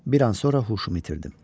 Bir an sonra huşumu itirdim.